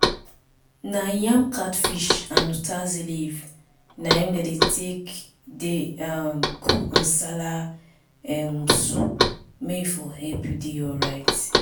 na yam catfish and utazi leaf na im dey take dey um cook nsala um soup may e for help you dey alright